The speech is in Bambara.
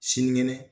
Sinikɛnɛ